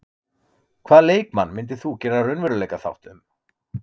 Hvaða leikmann myndir þú gera raunveruleikaþátt um?